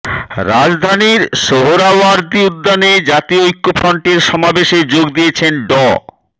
রাজধানীর সোহরাওয়ার্দী উদ্যানে জাতীয় ঐক্যফ্রন্টের সমাবেশে যোগ দিয়েছেন ড